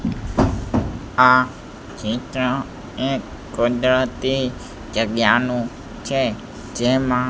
આ ચિત્ર એક કુદરતી જગ્યાનું છે જેમાં.